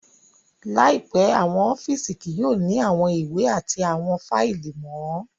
Laipẹ, awọn ọfiisi kii yoo ni awọn iwe ati awọn faili mọ